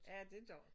Ja det gør det